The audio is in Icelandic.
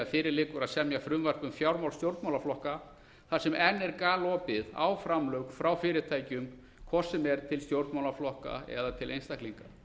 fyrir liggur að semja frumvarp um fjármál stjórnmálaflokka þar sem enn er galopið á framlög frá fyrirtækjum hvort sem er til stjórnmálaflokka eða til einstaklinga